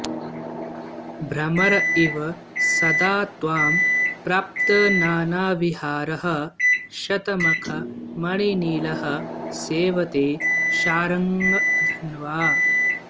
भ्रमर इव सदा त्वां प्राप्तनानाविहारः शतमखमणिनीलः सेवते शार्ङ्गधन्वा